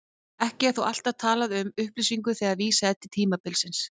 Ekki er þó alltaf talað um upplýsingu þegar vísað er til tímabilsins.